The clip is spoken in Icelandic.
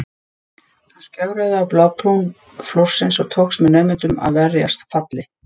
Hann skjögraði á blábrún flórsins og tókst með naumindum að verjast falli.